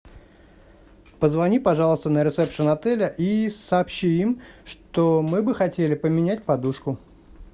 позвони пожалуйста на ресепшн отеля и сообщи им что мы бы хотели поменять подушку